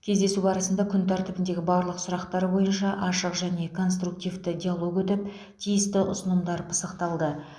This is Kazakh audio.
кездесу барысында күн тәртібіндегі барлық сұрақтар бойынша ашық және конструктивті диалог өтіп тиісті ұсынымдар пысықталды